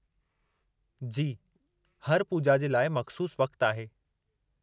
जी, हर पूॼा जे लाइ मख़्सूसु वक़्तु आहे।